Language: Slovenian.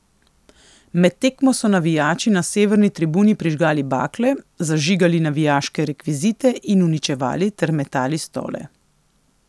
Med tekmo so navijači na severni tribuni prižigali bakle, zažigali navijaške rekvizite in uničevali ter metali stole.